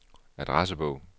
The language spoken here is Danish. adressebog